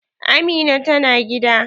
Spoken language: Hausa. Amina ta na gida?